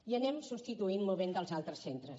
i anem substituint i movent dels altres centres